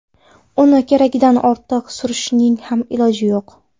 Uni keragidan ortiq surishning ham iloji yo‘q.